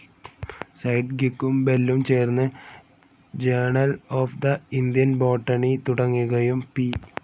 സെഡ്ഗ്വിക്കും ബെല്ലും ചേർന്ന് journal of the Indian botany തുടങ്ങുകയും പി.